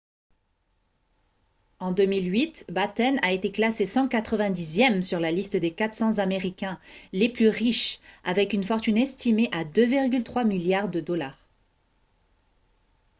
en 2008 batten a été classé 190e sur la liste des 400 américains les plus riches avec une fortune estimée à 2,3 milliards de dollars